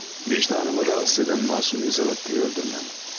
Vicdanımı narahat edən məsum Lizavettanı öldürməyimdir.